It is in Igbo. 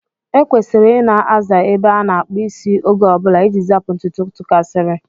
E kwesịrị Ị na-aza ebe a na-akpụ isi oge ọbụla iji zapụ ntutu tụkasiri.